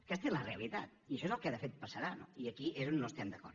aquesta és la realitat i això és el que de fet passarà no i aquí és on no estem d’acord